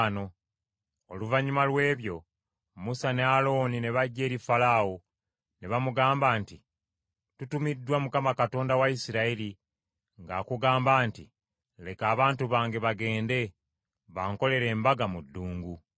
Oluvannyuma lw’ebyo, Musa ne Alooni ne bajja eri Falaawo, ne bamugamba nti, “Tutumiddwa Mukama Katonda wa Isirayiri ng’akugamba nti, ‘Leka abantu bange bagende, bankolere embaga mu ddungu.’ ”